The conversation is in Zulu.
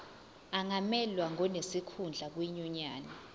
angamelwa ngonesikhundla kwinyunyane